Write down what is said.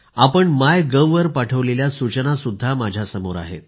आपण मायगोव वर पाठविलेल्या सूचनासुद्धा माझ्यासमोर आहेत